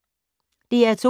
DR2